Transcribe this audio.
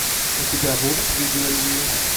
у тебя будет видео ревью